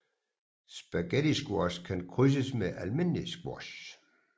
Spaghettisquash kan krydses med almindelig squash